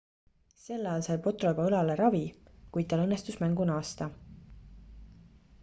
sel ajal sai potro juba õlale ravi kuid tal õnnestus mängu naasta